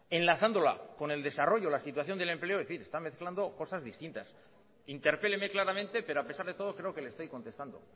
enlazándola con el desarrollo la situación del empleo en fin está mezclando cosas distintas interpéleme claramente pero a pesar de todo creo que le estoy contestando